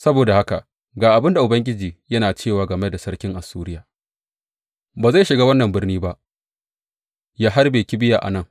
Saboda haka ga abin da Ubangiji yana cewa game da sarkin Assuriya, Ba zai shiga wannan birni ba ya harbe kibiya a nan.